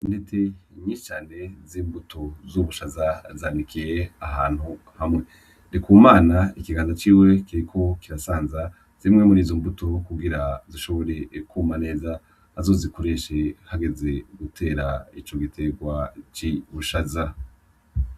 Intete nyicane z'imbuto zubushaza zanikiye ahantu hamwe rikumana ikiganza ciwe keko kirasanza zimwe muri izo mbuto wo kugira zishobor ekuma neza azozikoreshe hageze gutera ico giterwa c'i bushaza.